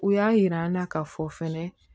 U y'a yir'an na k'a fɔ fɛnɛ